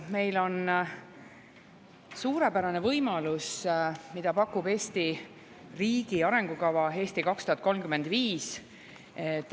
Meil on suurepärane võimalus, mida pakub Eesti riigi arengukava "Eesti 2035".